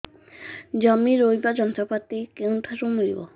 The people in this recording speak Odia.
ଜମି ରୋଇବା ଯନ୍ତ୍ରପାତି କେଉଁଠାରୁ ମିଳିବ